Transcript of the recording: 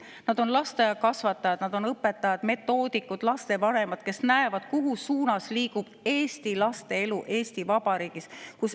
Nad on lasteaiakasvatajad, õpetajad, metoodikud, lapsevanemad, kes näevad, mis suunas liigub eesti laste elu Eesti Vabariigis.